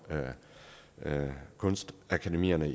kunstakademierne